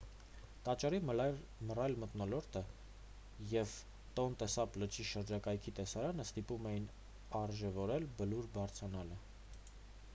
տաճարի մռայլ մթնոլորտը և տոնլե սապ լճի շրջակայքի տեսարանը ստիպում էին արժևորել բլուր բարձրանալը